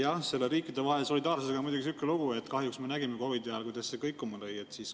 Jah, selle riikidevahelise solidaarsusega on muidugi niisugune lugu, et kahjuks me nägime COVID‑i ajal, kuidas see kõikuma lõi.